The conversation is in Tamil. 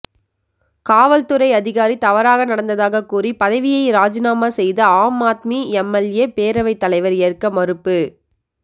காவல்துறை அதிகாரி தவறாக நடந்ததாக கூறி பதவியை ராஜிநாமா செய்த ஆம் ஆத்மி எம்எல்ஏபேரவைத் தலைவா் ஏற்க மறுப்பு